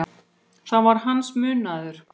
Það var hans munaður.